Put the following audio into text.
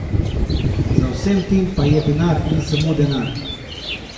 Za vsem tem pa je denar in samo denar!